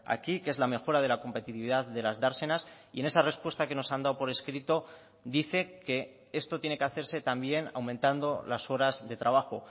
aquí que es la mejora de la competitividad de las dársenas y en esa respuesta que nos han dado por escrito dice que esto tiene que hacerse también aumentando las horas de trabajo